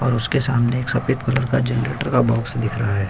और उसके सामने एक सफेद कलर का जनरेटर का बॉक्स दिख रहा है।